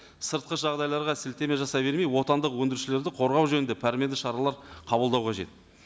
сыртқы жағдайларға сілтеме жасай бермей отандық өндірушілерді қорғау жөнінде пәрменді шаралар қабылдау қажет